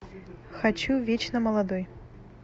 хочу вечно молодой